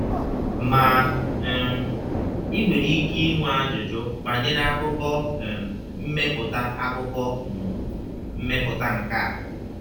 Ma, um i nwere ike inwe ajụjụ banyere akụkụ um mmepụta akụkụ um mmepụta nke a.